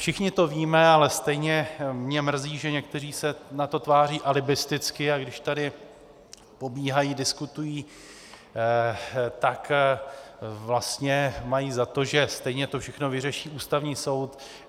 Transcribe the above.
Všichni to víme, ale stejně mě mrzí, že někteří se na to tváří alibisticky, a když tady pobíhají, diskutují, tak vlastně mají za to, že stejně to všechno vyřeší Ústavní soud.